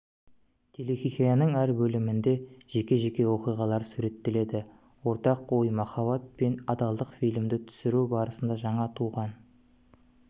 телехикаяның әр бөлімінде жеке-жеке оқиғалар суреттеледі ортақ ой махаббат пен адалдық фильмді түсіру барысында жаңа туған